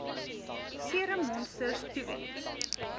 serum monsters toewens